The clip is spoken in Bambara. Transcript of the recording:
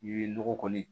I ye nɔgɔ kɔni